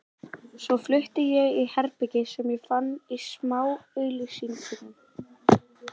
Svo flutti ég í herbergi sem ég fann í smáauglýsingunum.